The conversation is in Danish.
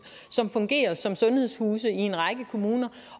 som fungerer som sundhedshuse i en række kommuner